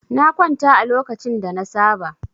Na kwanta a lokacin da na saba.